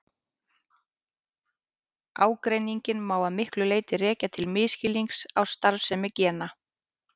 Ágreininginn má að miklu leyti rekja til misskilnings á starfsemi gena.